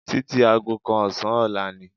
Títí aago kan ọ̀sán ọ̀la ni